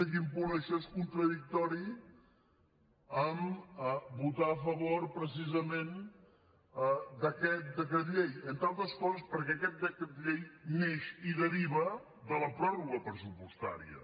quin punt això és contradictori amb votar a favor precisament d’aquest decret llei entre altres coses perquè aquest decret llei neix i deriva de la pròrroga pressupostària